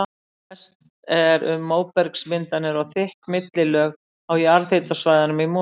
Mest er um móbergsmyndanir og þykk millilög á jarðhitasvæðunum í Mosfellsbæ.